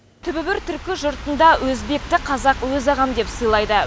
түбі бір түркі жұртында өзбекті қазақ өз ағам деп сыйлайды